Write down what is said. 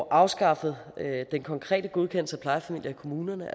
afskaffet den konkrete godkendelse af plejefamilier i kommunerne